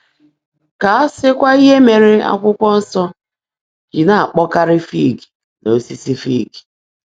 Ka a sịkwa ihe mere Akwụkwọ Nsọ ji na-akpọkarị fig na osisi fig.